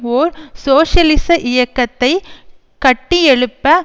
ஒர் சோசியலிச இயக்கத்தை கட்டியெழுப்ப